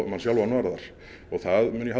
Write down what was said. mann sjálfan varðar og það mun ég